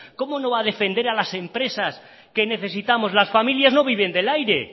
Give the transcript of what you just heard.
cómo no va a defender a las empresas que necesitamos las familias no viven del aire